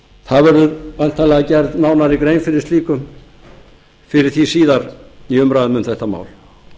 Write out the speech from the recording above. það verður væntanlega gerð nánari grein fyrir því síðar í umræðu um þetta mál